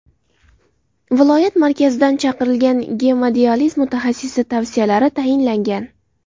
Viloyat markazidan chaqirilgan gemodializ mutaxassisi tavsiyalari tayinlangan.